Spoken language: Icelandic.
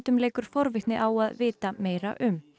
leikur forvitni á að vita meira um